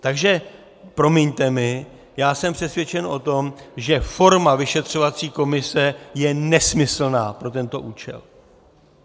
Takže promiňte mi, já jsem přesvědčen o tom, že forma vyšetřovací komise je nesmyslná pro tento účel.